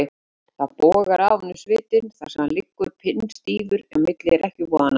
Það bogar af honum svitinn þar sem hann liggur pinnstífur á milli rekkjuvoðanna.